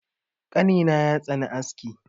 Ƙanina ya tsani aski.